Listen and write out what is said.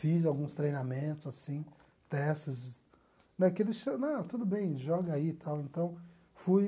Fiz alguns treinamentos, assim, testes né, não tudo bem, joga aí e tal então fui